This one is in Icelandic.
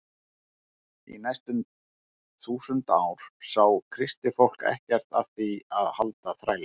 Í næstum tvö þúsund ár sá kristið fólk ekkert að því að halda þræla.